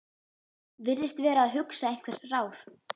Virðist vera að hugsa einhver ráð.